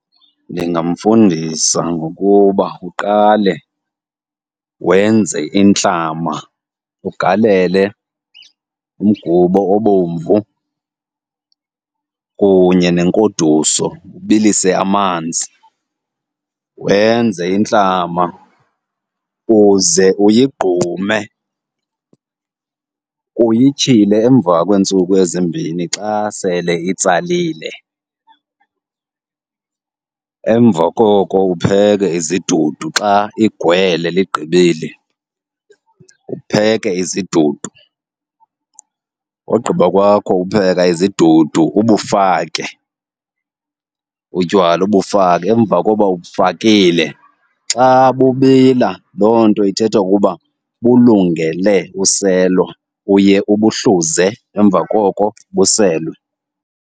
Ndingamfundisa ngokuba uqale wenze intlama, ugalele umgubo obomvu kunye nenkoduso. Ubilise amanzi wenze intlama uze uyigqume, uyityhile emva kweentsuku ezimbini xa sele itsalile. Emva koko upheke izidudu xa igwele ligqibile, upheke izidudu. Ogqiba kwakho upheka izidudu ubufake utywala, ubufake. Emva koba ubufakile xa bubila, loo nto ithetha ukuba bulungele uselwa. Uye ubuhluze emva koko buselwe.